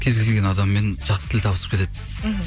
кез келген адаммен жақсы тіл табысып кетеді мхм